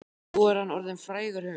Nú er hann orðinn frægur höfundur.